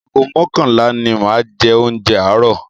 Ago mọ́kànlá ni máa jẹ oúnjẹ àárọ̀.